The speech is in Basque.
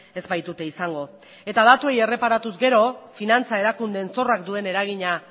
ez baitute izango eta datuei erreparatu ezkero finantza erakundeen zorrak duen eragina